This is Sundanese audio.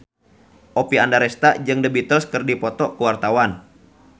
Oppie Andaresta jeung The Beatles keur dipoto ku wartawan